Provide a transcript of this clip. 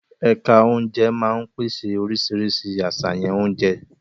Ẹ̀ka oúnjẹ máa ń pèsè oríṣiríṣi àṣàyàn oúnjẹ.